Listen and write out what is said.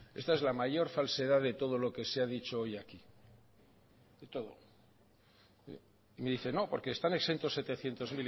esta es la mayor falsedad de lo que se ha dicho hoy aquí de todo me dice no porque están exentos setecientos